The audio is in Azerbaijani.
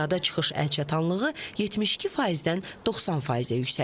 Piyada çıxış əlçatanlığı 72%-dən 90%-ə yüksəlib.